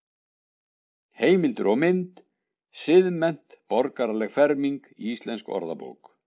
Heimildir og mynd: Siðmennt- borgaraleg ferming Íslensk orðabók.